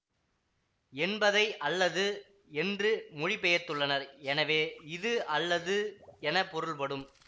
என்பதை அல்லது என்று மொழிபெயர்த்துள்ளனர் எனவே இது அல்லது என பொருள் படும்